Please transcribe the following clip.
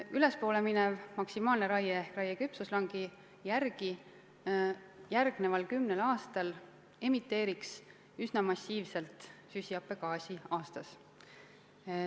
Kui teha maksimaalset raiet ehk raiet küpsuslangi järgi, siis järgmisel kümnel aastal emiteeritaks aastas üsna massiivselt süsihappegaasi.